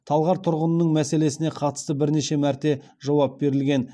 талғар тұрғынының мәселесіне қатысты бірнеше мәрте жауап берілген